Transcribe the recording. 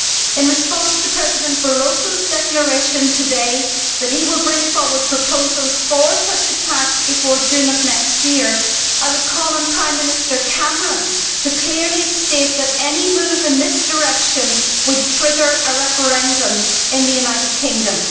In response to President Barroso's declaration today that he will bring forward proposals for such a tax before June of next year, I would call on Prime Minister Cameron to clearly state that any move in this direction would trigger a referendum in the United Kingdom.